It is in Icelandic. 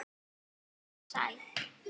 Hann er sæll.